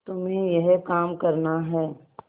तुम्हें यह काम करना है